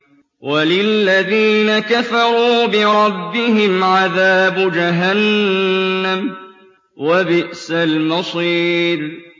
وَلِلَّذِينَ كَفَرُوا بِرَبِّهِمْ عَذَابُ جَهَنَّمَ ۖ وَبِئْسَ الْمَصِيرُ